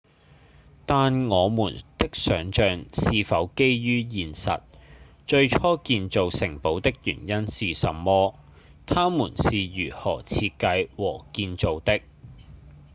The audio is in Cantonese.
但我們的想像是否基於現實？最初建造城堡的原因是什麼？它們是如何設計和建造的？